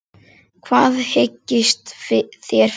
Hvað hyggist þér fyrir?